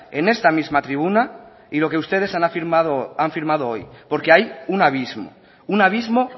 en esta misma tribuna y lo que ustedes han firmado hoy porque hay un abismo un abismo